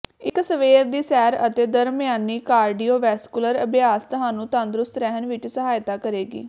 ਇੱਕ ਸਵੇਰ ਦੀ ਸੈਰ ਅਤੇ ਦਰਮਿਆਨੀ ਕਾਰਡੀਓਵੈਸਕੁਲਰ ਅਭਿਆਸ ਤੁਹਾਨੂੰ ਤੰਦਰੁਸਤ ਰਹਿਣ ਵਿੱਚ ਸਹਾਇਤਾ ਕਰੇਗੀ